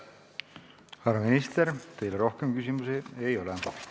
Härra minister, teile rohkem küsimusi ei ole.